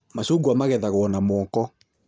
Macungwa magethagwo na moko